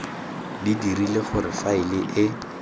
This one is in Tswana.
di dirile gore faele e